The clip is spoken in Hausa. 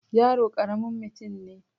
yaro karamin mutum ne